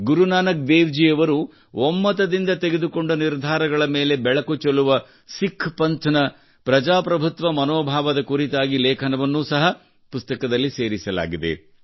ಗುರುನಾನಕ್ ದೇವ್ ಜಿ ಯವರ ಒಮ್ಮತದಿಂದ ತೆಗೆದುಕೊಂಡ ನಿರ್ಧಾರಗಳ ಮೇಲೆ ಬೆಳಕು ಚೆಲ್ಲುವ ಸಿಖ್ ಪಂಥ್ನ ಪ್ರಜಾಪ್ರಭುತ್ವ ಮನೋಭಾವದ ಕುರಿತಾದ ಲೇಖನವನ್ನು ಸಹ ಪುಸ್ತಕದಲ್ಲಿ ಸೇರಿಸಲಾಗಿದೆ